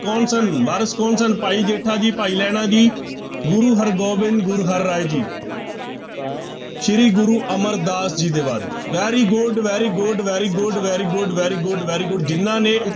ਕੌਣ ਸਨ, ਵਾਰਿਸ ਕੌਣ ਸਨ, ਭਾਈ ਜੇਠਾ ਜੀ, ਭਾਈ ਲਹਿਣਾ ਜੀ, ਗੁਰੂ ਹਰਿਗੋਬਿੰਦ, ਗੁਰੂ ਹਰਿਰਾਏ ਜੀ ਸ੍ਰੀ ਗੁਰੂ ਅਮਰਦਾਸ ਜੀ ਦੇ ਵਾਰਿਸ very good, very good, very good, very good, very good, very good ਜਿਹਨਾਂ ਨੇ